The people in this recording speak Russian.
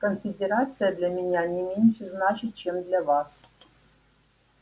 конфедерация для меня не меньше значит чем для вас